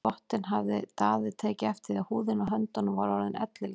Við þvottinn hafði Daði tekið eftir því að húðin á höndunum var orðin ellileg.